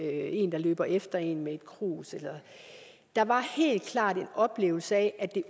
en der løber efter en med et krus der var helt klart en oplevelse af